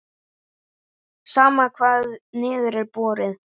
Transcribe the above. Sama hvar niður er borið.